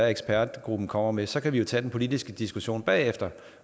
ekspertgruppen kommer med så kan vi jo tage den politiske diskussion bagefter